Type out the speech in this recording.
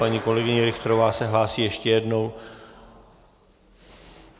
Paní kolegyně Richterová se hlásí ještě jednou.